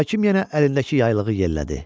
Hakim yenə əlindəki yaylığı yellədi.